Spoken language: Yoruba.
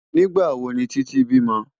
Nigbá wó ni Titi bímò?